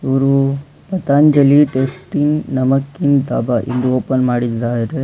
ಇವರು ಪತಾಂಜಲಿ ಟೇಸ್ಟಿ ನಮಕಿನ್ ಡಾಬಾ ಎಂದು ಓಪನ್ ಮಾಡಿದ್ದಾರೆ.